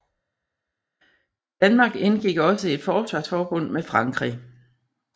Danmark indgik også i et forsvarsforbund med Frankrig